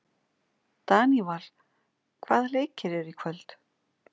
Daníval, hvaða leikir eru í kvöld?